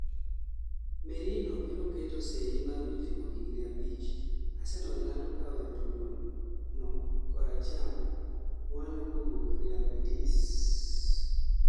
Merino biro keto seyi mar winjruok higni 5 . Arsenal lando kao jatugo ma kor acham mwalo kawuok Real Betis